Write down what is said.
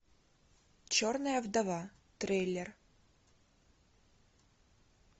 черная вдова трейлер